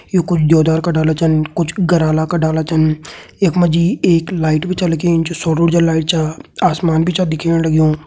यु कुछ देवदार का डाला छन कुछ गराला का डाला छन यख मा जी एक लाइट भी छा लगीं जो सौर ऊर्जा लाइट छा आसमान भी छा दिखेण लग्युं।